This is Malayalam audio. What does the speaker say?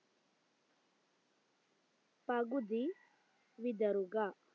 പകുതി വിതറുക